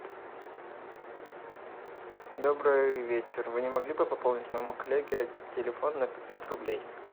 добрый вечер вы не могли бы пополнить моему коллеге телефон на пятьсот рублей